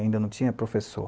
Ainda não tinha professor.